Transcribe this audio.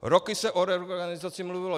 Roky se o reorganizaci mluvilo.